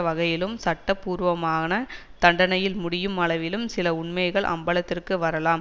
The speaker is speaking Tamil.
வகையிலும் சட்ட பூர்வமான தண்டனையில் முடியும் அளவிலும் சில உண்மைகள் அம்பலத்திற்கு வரலாம்